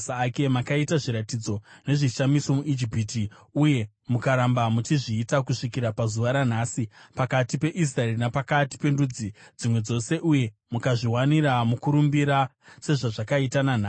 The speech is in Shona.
Makaita zviratidzo nezvishamiso muIjipiti uye mukaramba muchizviita kusvikira pazuva ranhasi, pakati peIsraeri napakati pendudzi dzimwe dzose, uye mukazviwanira mukurumbira sezvazvakaita nanhasi.